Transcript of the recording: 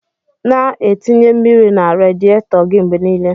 Na atinye mmiri na radietor gi mgbe nile.